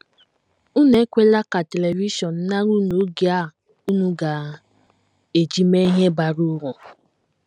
Unu ekwela ka televishọn nara unu oge a unu ga - eji mee ihe bara uru.